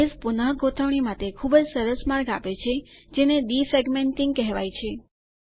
base પુનગોઠવણી માટે ખુબજ સરસ માર્ગ આપે છે જેને ડીફ્રેગમેન્ટીંગ કહેવાય છે